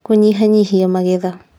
Kũnyihanyihia magetha